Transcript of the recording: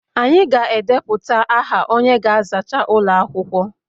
Anyị ga-edepụta aha onye ga-azacha ụlọ akwụkwọ